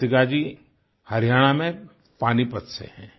कृतिका जी हरियाणा में पानीपत से हैं